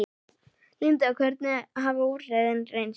Linda, hvernig hafa úrræðin reynst?